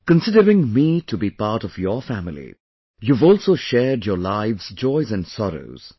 Considering me to be a part of your family, you have also shared your lives' joys and sorrows